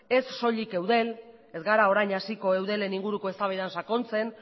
ez soilik eudel ez gara orain hasiko eudelen inguruko eztabaidan sakontzen